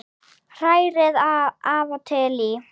Hrærið af og til í.